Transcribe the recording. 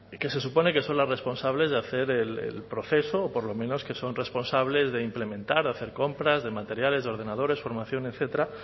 que se supone que son las responsables de hacer el proceso o por lo menos que son responsables de implementar hacer compras de materiales de ordenadores formación etcétera